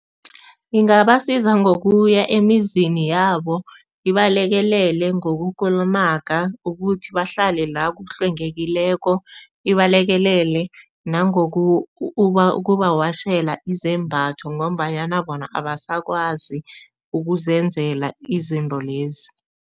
Ingabasiza ngokuya emizini yabo, nibalekelele ngokukulumaga ukuthi bahlale la kuhlwengekileko, nibalekelele nangoku ukubawashela izembatho ngombanyana bona abasakwazi ukuzenzela izinto lezi.